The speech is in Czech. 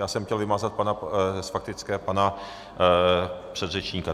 Já jsem chtěl vymazat z faktické pana předřečníka.